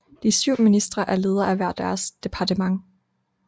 De syv ministre er leder af hver deres departement